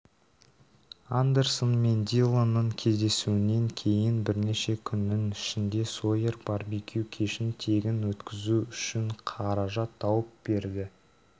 андерсон мен диллонның кездесуінен кейін бірнеше күннің ішінде сойер барбекю кешін тегін өткізу үшін қаражат тауып берді